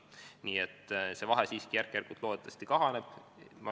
Nii et see vahe siiski järk-järgult loodetavasti kahaneb.